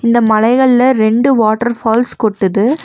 இந்த மலைகள்ல ரெண்டு வாட்டர் ஃபால்ஸ் கொட்டுது.